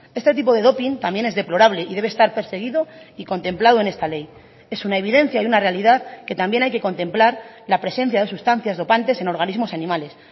este tipo de doping también es deplorable y debe estar perseguido y contemplado en esta ley es una evidencia y una realidad que también hay que contemplar la presencia de sustancias dopantes en organismos animales